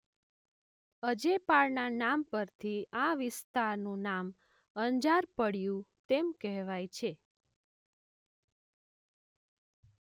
અજેપાળના નામ પરથી આ વિસ્તાનું નામ અંજાર પડ્યું તેમ કહેવાય છે.